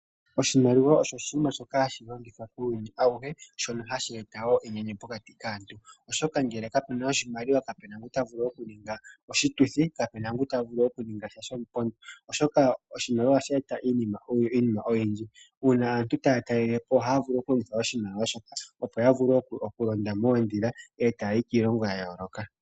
Oshimaliwa osho oshinima shoka hashi longithwa kuuyuni auhe, shoka hashi eta enyanyu enene pokati kaantu, oshoka ngele kapuna oshimaliwa nena kapena ngoka ta vulu oku ninga oshituthi, kapena ngoka ta vulu oku ninga sha shomupondo, oshoka oshimaliwa ohashi eta iinima oyindji, uuna aantu taya talelepo, ohaya vulu oku longitha oshimaliwa osho tuu shoka, taya longitha oku londa oodhila, ta yayi kiilongo ya yooloka.